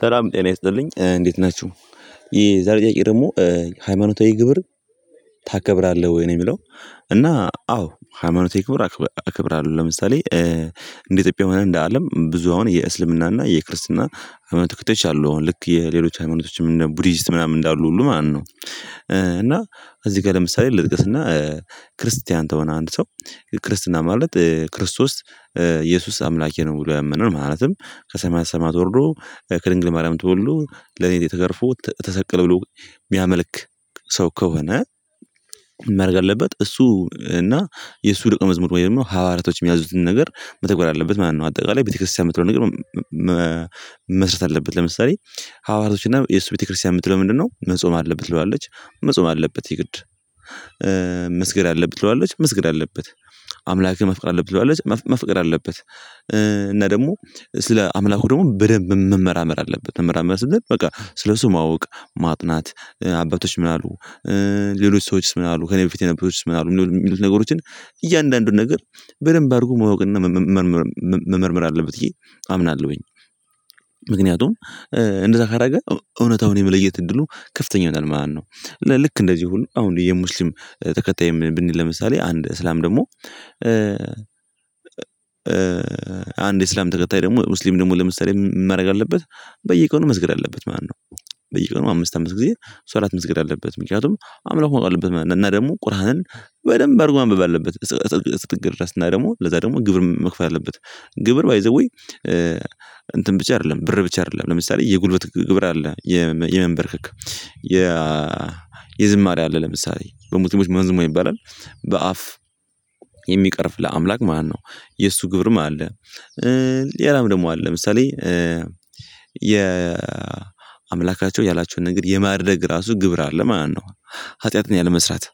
ሰላም ጤና ይስጥልኝ እንዴት ናችሁ የዛሬ ጥያቄ ሃይማኖታዊ ግብር ታከብራለህ ወይ ነው የሚለው? አዎ ሃይማኖቴ ክብር አክብር አለው። ለምሳሌ እንደ ኢትዮጵያ ሆነህ እንደ አለም ብዙ አሁን የእስልምናና የክርስትና አመት ተከታይቻለሁ አሁን ልክ የሌሎች ሃይማኖቶችም ቡዲስት ምናምን እንዳሉ ሁሉ ማነው? እዚህ ጋር ለምሳሌ ልጥቀስና ክርስቲያን ተሆነ አንድ ሰው ክርስትና ማለት ክርስቶስ ኢየሱስ አምላኬ ነው ብሎ ያመን ነው። ማለትም ከሰማያት ሰማያት ወርዶ ከድንግል ማርያም ተወልዶ ለኔ ተገርፎ ተሰቀለ ብሎ የሚያመልክ ሰው ከሆነ? ምን ማድረግ አለበት እሱ እና የሱ ደቀመዝሙር ማለት ነው። ሐዋርያቶች የሚያዙትን ነገር መተጎር አለበት ማነው? አጠቃላይ ቤተክርስቲያን የምትለው ነገር መስረት አለበት። ለምሳሌ ሐዋርያቶች እና የሱ ቤተክርስቲያን የምትለው ምንድነው? መጾም አለበት ትለዋለች መጾም አለበት የግድ አለብህ ትለዋለች መስገድ አለበት አምላክህን ማፍቀርአለብህ ትለዋለች ማፍቀር አለበት። እና ደግሞ ስለ አምላኩ ደግሞ በደንብ መመራመር አለበት መመራመር ስልህ በቃ ስለሱ ማወቅ ማጥናት አባቶች ምን አሉ? ሌሎች ሰዎችስ ምን አሉ ከእኔ በፊት የነበሩት ምን አሉ የሚሉት ነገሮችን እያንዳንዱን ነገር በደንብ አድርጎ ማወቅና መመርመር መመርመር አለብኝ። አምናለሁኝ። ምክንያቱም እንደዛ ካረገ እውነታውን የመለየት እድሉ ከፍተኛ ነው ማለት ነው። ልክ እንደዚህ ሁሉ አሁን የሙስሊም ተከታይ ብንል ለምሳሌ አንድ እስላም ደግሞ አንድ እስላም ተከታይ ደግሞ ሙስሊም ደግሞ ለምሳሌ ምን ማድረግ አለበት? በየቀኑ መስገር አለበት ማነው? በየቀኑ አምስት አምስት ጊዜ ሰው አራት መስገድ ሶላት መስገድ አለበት። ምክንያቱም አምላክ መቆጣጠር አለበት እና ደግሞ ቁርአንን በደንብ አድርጎ ማንበብ አለበት። ስትግር ድረስ እና ደግሞ ለዛ ደግሞ ግብር መክፈል ያለበት ግብር ባይ ዘ ዌይ። እንትን ብቻ አይደለም ብር ብቻ አይደለም ለምሳሌ የጉልበት ግብር አለ። የመንበርክክ የ የዝማሬ አለ ለምሳሌ በሙስሊሞች መንዙማ ይባላል በአፍ የሚቀርፍ ለአምላክ ማነው? የእሱ ግብርም አለ። ሌላም ደግሞ አለ ለምሳሌ የ አምላካቸው ያላቸውን ነገር የማድረግ ራሱ ግብር አለ ማነው? ኃጢአትን ያለመስራት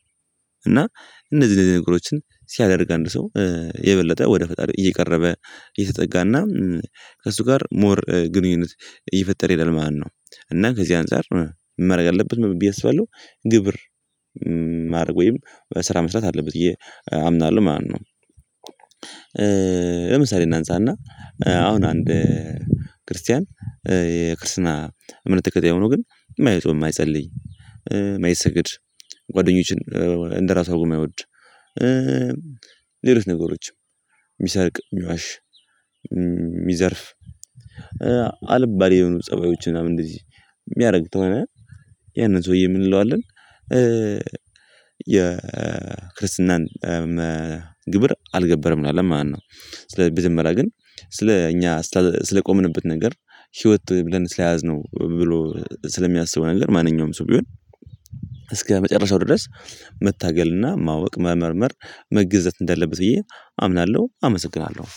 እና እነዚህ ነገሮችን ሲያደርግ አንድ ሰው የበለጠ ወደ ፈጣሪው እየቀረበ የተጠጋና ከእሱ ጋር ሞር ግንኙነት እየፈጠር ይላል ማለት ነነው። እና ከዚህ አንፃር ምን ማድረግ አለበት ብዬ አስባለሁ። ግብር ማድረግ ወይም ስራ መስራት አለበት ብየ አምናለሁ ማለት ማለት ነው። ለምሳሌ እናንሳና አሁን አንድ ክርስቲያን የክርስትና እምነት ተከታይ ሆኖ ግን ማየቱ የማይጸልይ እማይሰገድ ጓደኞችን እንደራሷ የማይወድ ሌሎች ነገሮችም እሚሰርቅ እሚዋሽ እሚዘርፍ አልባሌ የሆኑ ፀባዮችን እና እንደዚህ የሚያደርግ ከሆነ ያንን ሰውዬ ምን እንለዋለን? የክርስትናን ግብር አልገበረም አለ ማነው? ስለ መጀመሪያ ግን ስለ እኛ ስለቆምንበት ነገር ህይወት ብለን ስለያዝነው ብሎ ስለሚያስበው ነገር ማንኛውም ሰው ቢሆን እስከ መጨረሻው ድረስ መታገልና ማወቅ መመርመር መገዘት እንደሌለበት ብዬ አምናለሁ። አመሰግናለሁ